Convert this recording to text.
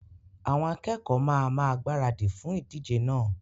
Àwọn akẹkọ̀ọ́ ma máa gbaradì fún ìdíjẹ náà.